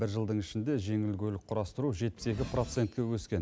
бір жылдың ішінде жеңіл көлік құрастыру жетпіс екі процентке өскен